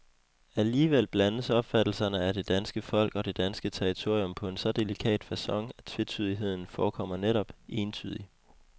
Alligevel blandes opfattelserne af det danske folk og det danske territorium på en så delikat facon, at tvetydigheden forekommer netop, entydig.